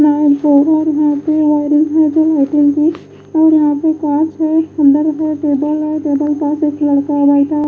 यहां है बेड है सोफा पिलर --